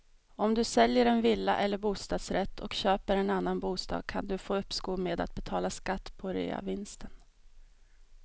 Om du säljer en villa eller bostadsrätt och köper en annan bostad kan du få uppskov med att betala skatt på reavinsten.